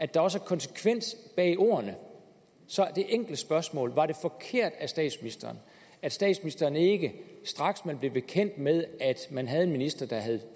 der også er konsekvens bag ordene så det enkle spørgsmål er var det forkert af statsministeren at statsministeren ikke straks man blev bekendt med at man havde en minister der havde